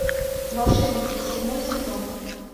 волшебники седьмой сезон